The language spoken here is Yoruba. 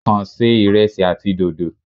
Kàn ṣe ìresí àti dòdò.